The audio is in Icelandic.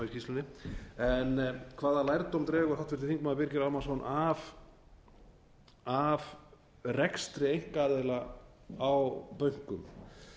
í skýrslunni hvaða lærdóm dregur háttvirtur þingmaður birgir ármannsson af rekstri einkaaðila á bönkum